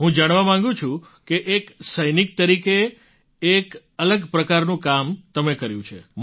હું જાણવા માગું છું કે એક સૈનિક તરીકે એક અલગ પ્રકારનું કામ તમે કર્યું છે